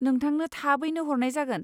नोंथांनो थाबैनो हरनाय जागोन!